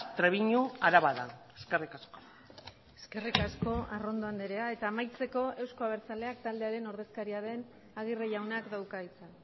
trebiñu araba da eskerrik asko eskerrik asko arrondo andrea eta amaitzeko eusko abertzaleak taldearen ordezkaria den agirre jaunak dauka hitza